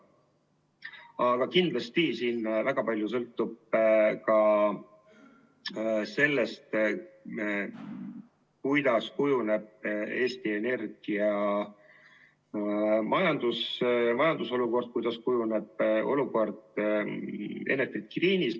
Aga kindlasti väga palju sõltub ka sellest, milliseks kujuneb Eesti Energia majandusolukord, kuidas kujuneb olukord Enefit Greenis.